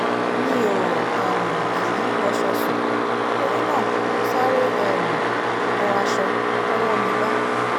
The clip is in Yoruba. mi ò um kì í wọṣọ sùn torí náà mo sáré um wọ aṣọ tọwọ́ mi bá